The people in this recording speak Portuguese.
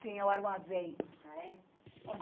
Tinha o armazém. Ah é?